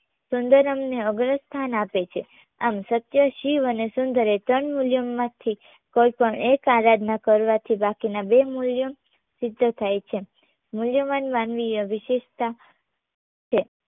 સુંદરમને અગ્રસ્થાન આપે છે. આમ, સત્ય શિવ અને સુંદર એ ત્રણ મૂલ્યોમાંથી કોઈપણ એક આરાધના કરવાથી બાકીના બે મૂલ્યો સિદ્ધ થાય છે મૂલ્યવાન માનવીય વિશેષતા છે